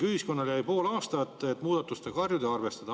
Ühiskonnale jäi pool aastat, et muudatustega harjuda ja arvestada.